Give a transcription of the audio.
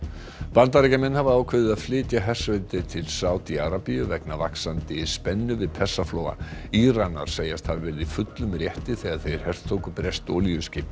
Bandaríkjamenn hafa ákveðið að flytja hersveitir til Sádi Arabíu vegna vaxandi spennu við Persaflóa Íranar segjast hafa verið í fullum rétti þegar þeir hertóku breskt olíuskip